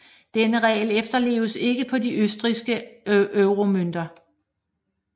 Denne regel efterleves ikke på de østrigske euromønter